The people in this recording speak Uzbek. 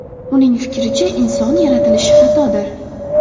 Uning fikricha, inson yaratilishi xatodir.